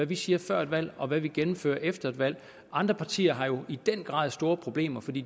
vi siger før et valg og hvad vi gennemfører efter et valg andre partier har jo i den grad store problemer for de